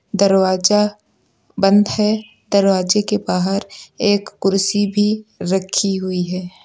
दरवाजा बंद है दरवाजे के बाहर एक कुर्सी भी रखी हुई है।